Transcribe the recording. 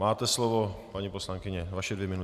Máte slovo, paní poslankyně - vaše dvě minuty.